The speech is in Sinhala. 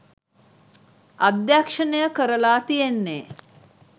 අධ්‍යක්ෂණය කරලා තියන්නේ